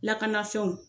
Lakanafɛnw